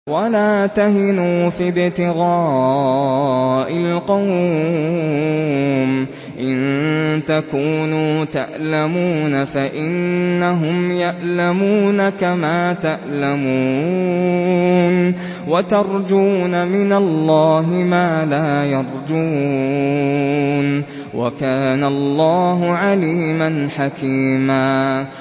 وَلَا تَهِنُوا فِي ابْتِغَاءِ الْقَوْمِ ۖ إِن تَكُونُوا تَأْلَمُونَ فَإِنَّهُمْ يَأْلَمُونَ كَمَا تَأْلَمُونَ ۖ وَتَرْجُونَ مِنَ اللَّهِ مَا لَا يَرْجُونَ ۗ وَكَانَ اللَّهُ عَلِيمًا حَكِيمًا